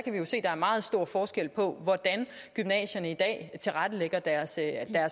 er meget stor forskel på hvordan gymnasierne i dag tilrettelægger deres